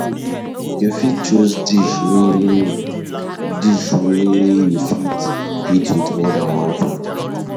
You fit choose dish wey dish wey you fit eat with more than one food